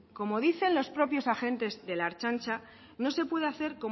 como dicen los propios agentes de la ertzaintza no se pude hacer